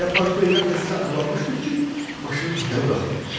Elə parkvedən təzəcə aralanmışdıq ki, maşının təkəri buraxdı.